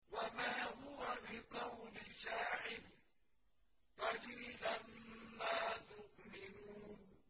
وَمَا هُوَ بِقَوْلِ شَاعِرٍ ۚ قَلِيلًا مَّا تُؤْمِنُونَ